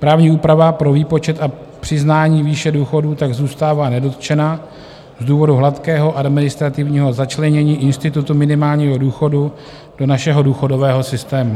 Právní úprava pro výpočet a přiznání výše důchodů tak zůstává nedotčena z důvodu hladkého administrativního začlenění institutu minimálního důchodu do našeho důchodového systému.